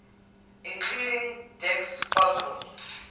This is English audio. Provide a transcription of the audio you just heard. including dec's focal